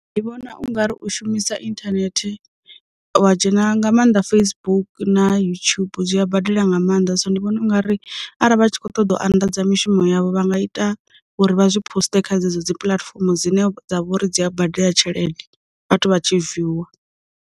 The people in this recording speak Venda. Ndi vhona ungari u shumisa inthanethi, wa dzhena nga maanḓa Facebook na yutshubu zwi a badela nga maanḓa, so ndi vhona ungari arali vha tshi kho ṱoḓa u anḓadza mishumo yavho vha nga ita uri vha zwi poster kha dzo dzi puḽatifomo dzine dza vha uri dzi a badela tshelede vhathu vha tshi viewer.